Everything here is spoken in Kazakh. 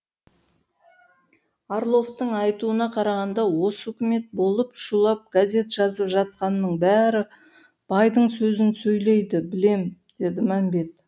орловтың айтуына қарағанда осы үкімет болып шулап газет жазып жатқанның бәрі байдың сөзін сөйлейді білем деді мәмбет